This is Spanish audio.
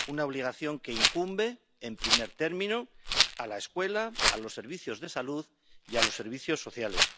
una obligación que incumbe, en primer término, a la escuela, a los servicios de salud y a los servicios sociales.